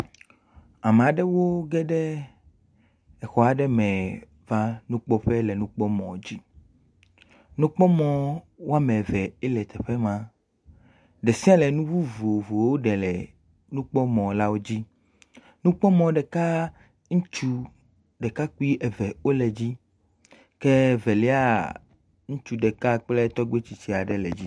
Ame aɖewo ge ɖe exɔ aɖe me va nukpɔƒe le nukpɔmɔ dzi. nukpɔmɔ wo ame evee le teƒe ma. Ɖe sia ɖe nu vovovo ɖe le nukpɔmɔlawo dzi. nukpɔmɔ ɖeka ŋutsu ɖekakpui eve wole edzi. Ke Eveliaa, ŋutsu ɖeka kple tegbe tsitsi aɖe wole edzi.